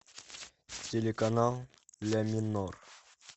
телеканал ля минор